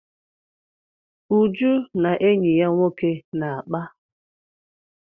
Uju na enyi ya nwoke na-akpa.